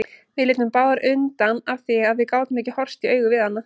Við litum báðar undan af því að við gátum ekki horfst í augu við hana.